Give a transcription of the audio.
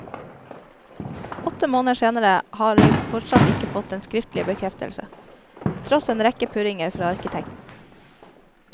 Åtte måneder senere har de fortsatt ikke fått den skriftlige bekreftelse, tross en rekke purringer fra arkitekten.